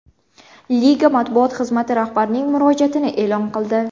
Liga matbuot xizmati rahbarning murojaatni e’lon qildi.